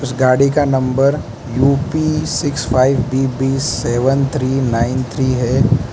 गाड़ी का U P six five B B seven three nine three है।